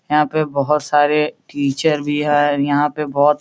यहाँ पे बहोत सारे टीचर भी हैं। यहाँ पे बहुत --